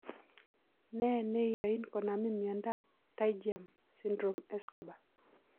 Ne ne yoin konamin miondap pterygium syndrome, Escobar?